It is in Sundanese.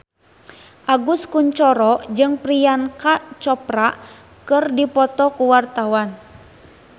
Agus Kuncoro jeung Priyanka Chopra keur dipoto ku wartawan